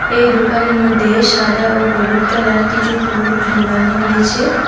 এই দোকানের মধ্যে সাদা ও হলুদ কালার কিছু ফুল ঝোলানো হয়েছে।